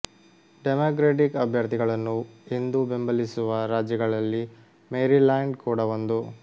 democratic ಅಭ್ಯರ್ಥಿಗಳನ್ನು ಎಂದೂ ಬೆಂಬಲಿಸುವ ರಾಜ್ಯಗಳಲ್ಲಿ ಮೇರಿಲ್ಯಾಂಡ್ ಕೂಡ ಒಂದು